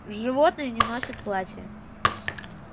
животные не носят платья